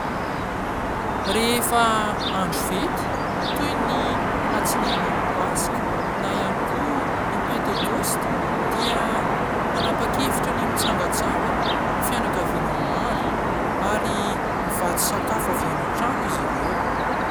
Rehefa andro fety toy ny alatsinain'ny paska na ihany koa ny pentekosta dia manapa-kevitra ny mitsangatsangana ny fianakaviana maro ary mivatsy sakafo avy an-trano izy ireo.